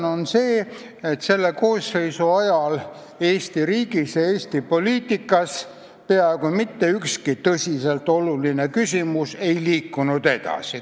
Põhjus on see, et selle koosseisu ajal Eesti riigis ja Eesti poliitikas peaaegu mitte ükski tõsiselt oluline küsimus ei liikunud edasi.